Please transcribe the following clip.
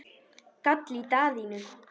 gall í Daðínu.